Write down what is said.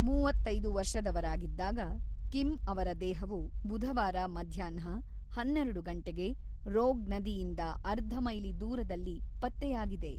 ಮೂವತ್ತೈದು ವರ್ಷದವರಾಗಿದ್ದ ಕಿಮ್ ಅವರ ದೇಹವು ಬುಧವಾರ ಮಧ್ಯಾಹ್ನ ಹನ್ನೆರಡು ಗಂಟೆಗೆ ರೋಗ್ ನದಿಯಿಂದ ಅರ್ಧ ಮೈಲಿ ದೂರದಲ್ಲಿ ಪತ್ತೆಯಾಗಿದೆ.